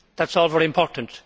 That is all very important.